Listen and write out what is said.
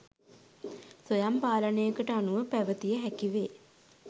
ස්වයං පාලනයකට අනුව පැවැතිය හැකිවේ.